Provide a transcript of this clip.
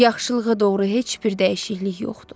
Yaxşılığa doğru heç bir dəyişiklik yoxdur.